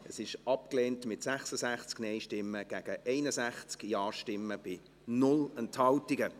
Die Motion ist abgelehnt, mit 66 Nein- gegen 61 Ja-Stimmen bei 0 Enthaltungen.